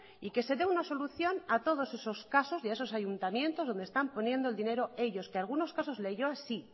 y que se dé una solución a todos esos casos y a esos ayuntamientos donde están poniendo el dinero ellos que algunos casos leioa sí